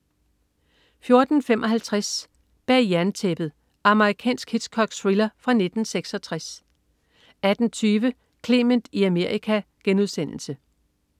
14.55 Bag jerntæppet. Amerikansk Hitchcock-thriller fra 1966 18.20 Clement i Amerika*